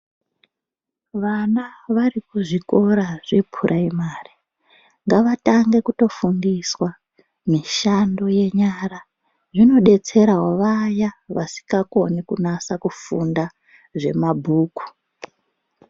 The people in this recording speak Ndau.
Vana vari kuzvikora zvepuraimari ngavatange kutofundiswa mishando yenyara. Zvinodetserawo vaya vasingakoni kunasa kufunda zvemabhuku.